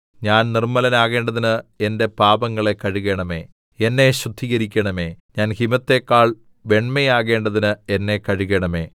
ഞാൻ നിർമ്മലനാകേണ്ടതിന് എന്റെ പാപങ്ങളെ കഴുകേണമേ എന്നെ ശുദ്ധീകരിക്കണമേ ഞാൻ ഹിമത്തെക്കാൾ വെണ്മയാകേണ്ടതിന് എന്നെ കഴുകണമേ